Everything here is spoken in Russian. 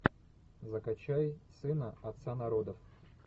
закачай сына отца народов